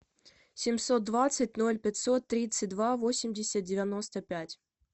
семьсот двадцать ноль пятьсот тридцать два восемьдесят девяносто пять